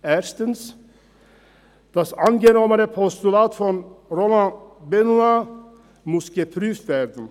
Erstens: Das angenommene Postulat von Roland Benoit muss ausgeführt werden.